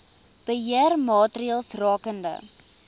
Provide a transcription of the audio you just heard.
beheer maatreëls rakende